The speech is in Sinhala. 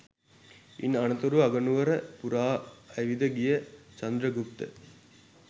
ඉන් අනතුරුව අගනුවර පුරා ඇවිද ගිය චන්ද්‍රගුප්ත